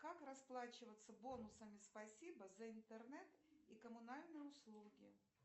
как расплачиваться бонусами спасибо за интернет и коммунальные услуги